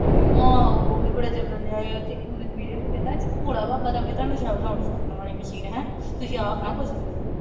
ਹਾਂ ਉਹ ਵੀ ਬੜਾ ਚੱਲਣ ਡੀਆ ਆ। ਉਹਦੇ ਚ ਇੱਕ ਕਹਿੰਦਾ ਭੋਲਾ ਬਾਬਾ ਦੇਵੇਂ ਨੋਟ ਛਾਪਣ ਵਾਲੀ ਮਸ਼ੀਨ, ਹੈਂ, ਤੁਸੀਂ ਆਪ ਨਾ ਕੁਛ ਕਰੀਓ।